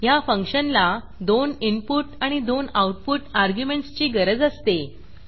ह्या फंक्शनला दोन इनपुट आणि दोन आऊटपुट अर्ग्युमेंटस ची गरज असते